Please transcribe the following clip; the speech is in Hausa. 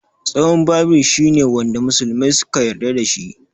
Tsohon Bible shi ne wanda musulmai suka yarda da shi.